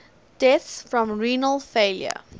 deaths from renal failure